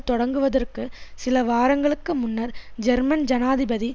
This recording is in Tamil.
தொடங்குவதற்கு சில வாரங்களுக்கு முன்னர் ஜெர்மன் ஜனாதிபதி